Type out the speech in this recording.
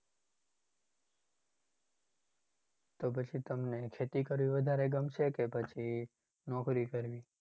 તો પછી તમને ખેતી કરવી વધારે ગમશે કે નોકરી કરવી?